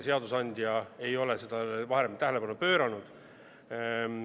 Seadusandja ei ole sellele varem tähelepanu pööranud.